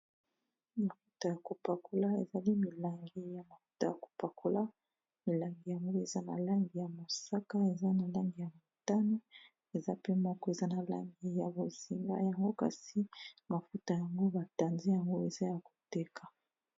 Mafuta ya kopakola ezali milangi ya mafuta ya kopakola milangi yango eza na langi ya mosaka eza na langi ya motana eza pe moko eza na langi ya bozinga yango kasi mafuta yango batanzi yango eza ya koteka.